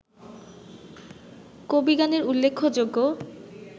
কবিগানের উল্লেখ্যযোগ্য